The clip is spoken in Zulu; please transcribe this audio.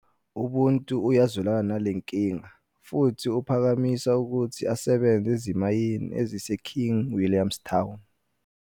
UBuntu uyazwelana nale nkinga futhi uphakamisa ukuthi asebenze ezimayini eziseKing William's Town.